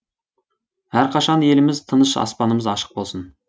әрқашан еліміз тыныш аспанымыз ашық болсын